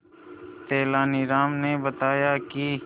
तेनालीराम ने बताया कि